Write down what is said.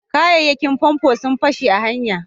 kayayyakin famfo sun fashe a hanya